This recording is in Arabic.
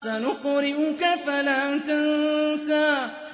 سَنُقْرِئُكَ فَلَا تَنسَىٰ